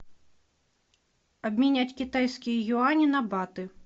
обменять китайские юани на баты